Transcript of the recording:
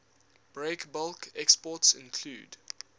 breakbulk exports include